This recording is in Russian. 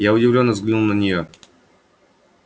я удивлённо взглянул на неё